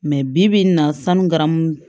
bi-bi in na sanu garamu